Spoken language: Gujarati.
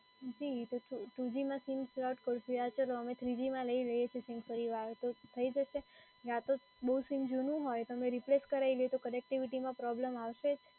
જી પછી two g માં sim slot રહ્યાં છે તો અમે થ્રી જી માં લઈ રહ્યાં છે સીમ ફરી વાર તો થઈ જશે? યા તો બઉ સીમ જૂનું હોય તો અમે replace કરાઈ તો connectivity માં પ્રોબ્લેમ આવશે?